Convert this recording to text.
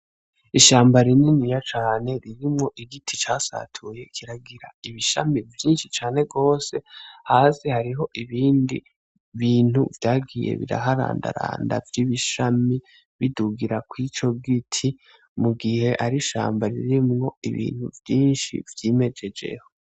Ishamba rininiya cane ririmwo igiti casatuye, kikagira ibishami vyinshi cane gose Hasi hariho ibindi bintu vyagiye biraharandaranda vy'ibishami bidugira kw'ico giti, mugihe ari ishamba ririmwo ibintu vyinshi vyimejejeho.